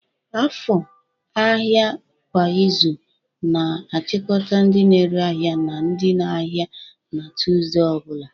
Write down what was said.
Afo, ahịa kwa izu, na-achịkọta ndị na-ere ahịa na ndị ahịa na Tusude ọ bụla.